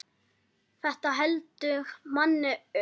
Þetta heldur manni ungum.